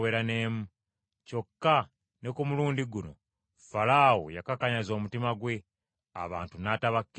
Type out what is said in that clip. Kyokka ne ku mulundi guno, Falaawo yakakanyaza omutima gwe, abantu n’atabakkiriza kugenda.